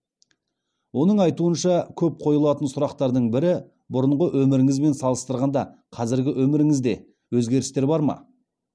оның айтуынша көп қойылатын сұрақтардың бірі бұрынғы өміріңізбен салыстырғанда қазіргі өміріңізде өзгерістер бар ма